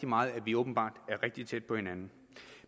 meget at vi åbenbart er rigtig tæt på hinanden